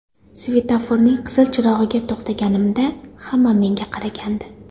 Svetoforning qizil chirog‘iga to‘xtaganimda, hamma menga qaragandi.